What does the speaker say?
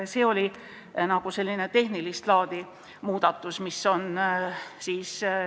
See oli selline tehnilist laadi muudatus, mis on tehtud.